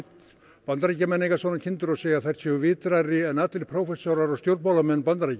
Bandaríkjamenn eiga svona kindur og segja að þær séu vitrari en allir prófessorar og stjórnmálamenn Bandaríkjanna